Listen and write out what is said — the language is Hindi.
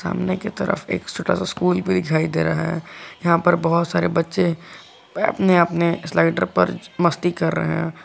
सामने की तरफ एक छोटा सा स्कूल भी दिखाई दे रहा है यहां पर बहुत सारे बच्चे अपने अपने स्लाइडर पर मस्ती कर रहे हैं।